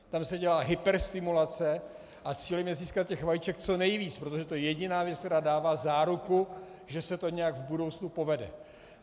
Tam se dělá hyperstimulace a cílem je získat těch vajíček co nejvíc, protože to je jediná věc, která dává záruku, že se to nějak v budoucnu povede.